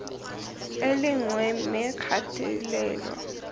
e le nngwe mme kgatelelo